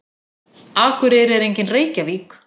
Akureyri er engin Reykjavík.